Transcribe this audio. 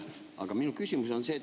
Aga minu küsimus on see.